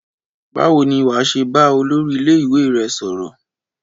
Báwo ni wà á ṣe bá olórí ilé-ìwé rẹ sọ̀rọ̀?